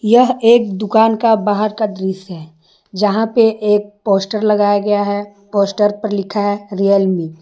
यह एक दुकान का बाहर का दृश्य है जहाँ पे एक पोस्टर लगाया गया है पोस्टर पर लिखा है रियलमी ।